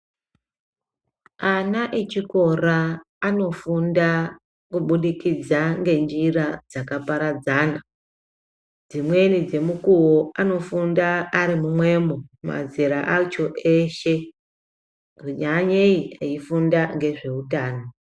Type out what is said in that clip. Ana echikora anofunda kubudikidza ngenjira dzakaparadzana dzimweni dzemukuwo anofunda arimumwemo mazera acho eshe nyanyei eifunda ngezveutano.